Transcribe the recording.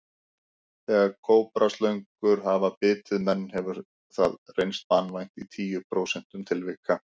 Þegar kóbraslöngur hafa bitið menn hefur hefur það reynst banvænt í tíu prósentum tilvika.